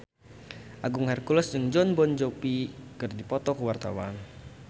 Agung Hercules jeung Jon Bon Jovi keur dipoto ku wartawan